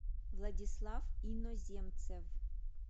владислав иноземцев